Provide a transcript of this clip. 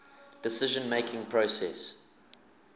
decision making process